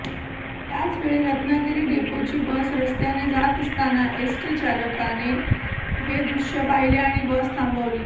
त्याचवेळी रत्नागिरी डेपोची बस रस्त्याने जात असताना एसटी चालकाने हे दृश्य पाहिले आणि बस थांबवली